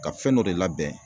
Ka fɛn dɔ de labɛn